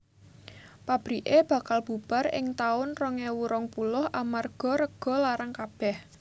Pabrike bakal bubar ing taun rong ewu rong puluh amarga rego larang kabeh